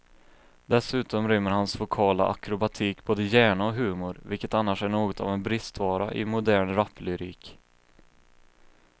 Dessutom rymmer hans vokala akrobatik både hjärna och humor, vilket annars är något av en bristvara i modern raplyrik.